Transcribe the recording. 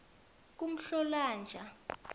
kumhlolonja